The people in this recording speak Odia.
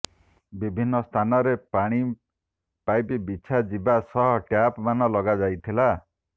ବିଭିନ୍ନ ସ୍ଥାନରେ ପାଣି ପାଇପ ବିଛା ଯିବା ସହ ଟ୍ୟାପ ମାନ ଲଗାଯାଇଥିଲା